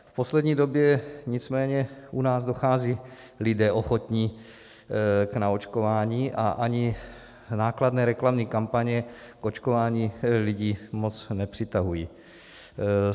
V poslední době nicméně u nás docházejí lidé ochotní k naočkování a ani nákladné reklamní kampaně k očkování lidi moc nepřitahují.